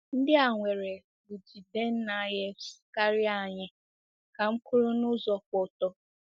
"Ndị a nwere bJidennaefs karịa anyị," ka m kwuru n'ụzọ kwụ ọtọ.